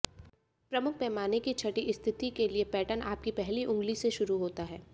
प्रमुख पैमाने की छठी स्थिति के लिए पैटर्न आपकी पहली उंगली से शुरू होता है